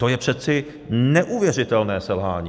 To je přeci neuvěřitelné selhání!